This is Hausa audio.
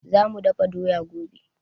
Za mu dafa doya gobe